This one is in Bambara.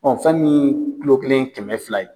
fɛn miin kulo kelen ye kɛmɛ fila ye